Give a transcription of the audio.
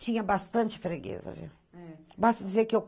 Tinha bastante freguesa, viu?